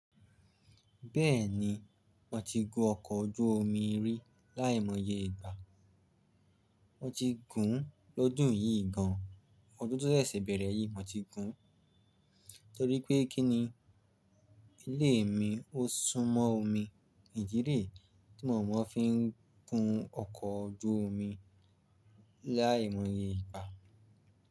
Bẹ́ẹ̀ni, mo ti gun ọkọ̀ ojú omi rí láìmọye ìgbà. Mo ti gùn-ún lọ́dún yìí gan-an, ọdún tó ṣẹ̀ṣẹ̀ bẹ̀rẹ̀ yìí mo ti gùn-ún Torí pé kí ni ilé mi ó sún mọ́ omi, ìdí rèé tí mo mọ́ fi ń gun ọkọ̀ ojú omi láìmọye ìgbà.